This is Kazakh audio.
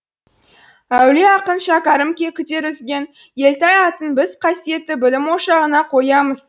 әулие ақын шәкәрім күдер үзген елтай атын біз қасиетті білім ошағына қоямыз